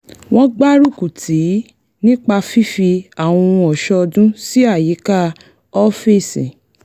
wọ́n gbárúkù tìí nípa fífi àwọn ohun ọ̀ṣọ́ ọdún sí àyíká ọ́fíìsì